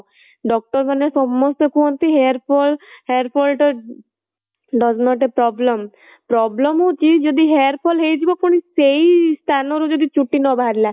doctor ମାନେ ସମସ୍ତେ କୁହନ୍ତି hair fall hair fall does not a problem, problem ହଉଚି ଯଦି hair fall ହେଇଯିବ ପୁଣି ସେଇ ସ୍ଥାନ ରୁ ଯଦି ଚୁଟି ନ ବାହାରିଲା